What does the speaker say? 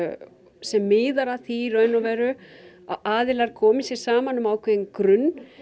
sem miðar að því í raun og veru að aðilar komi sér saman um ákveðinn grunn